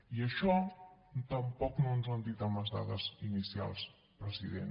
i això tampoc no ens ho han dit amb les dades inicials president